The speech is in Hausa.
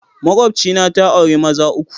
Makwabcina ta auri maza uku.